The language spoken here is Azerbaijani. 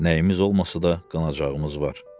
Nəyimiz olmasa da qanacağımız var.